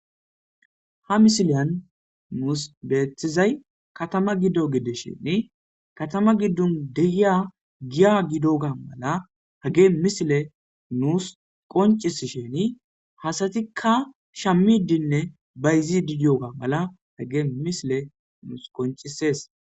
Ha misileyan nuus beethizay katama giddo gides sheni katama giddun degiya giya gido ga mala hage misile nuus qoncisi sheni hasatikka shammidinne bayzi didiyoga mala hage misile nuus qoncises.